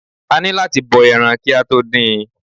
A ni láti bọ ẹran ki a to dín-in.